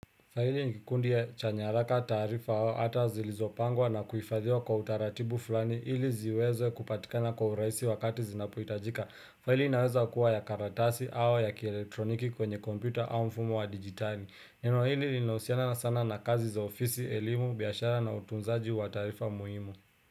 Faili nikikundi ya chanyaraka tarifa hawa hata zilizopangwa na kuifadhiwa kwa utaratibu fulani ili ziweze kupatikana kwa uraisi wakati zinapuhitajika. Faili inaweza kuwa ya karatasi au ya kieletroniki kwenye kompyota au mfumo wa digitali. Neno hili linahusiana sana na kazi za ofisi, elimu, biashara na utunzaji wa tarifa muhimu.